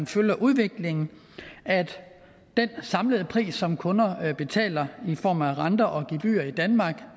følger udviklingen at den samlede pris som kunder betaler i form af renter og gebyrer i danmark